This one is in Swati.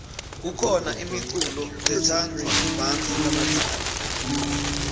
khona imiculo letsadvwa bantfu labadzala